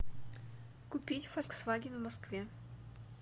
купить фольксваген в москве